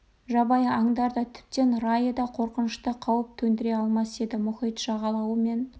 жабайы аңдар да тіптен райы да қорқынышты қауіп төндіре алмас еді мұхит жағалауы мен